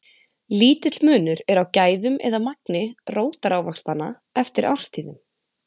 lítill munur er á gæðum eða magni rótarávaxtanna eftir árstíðum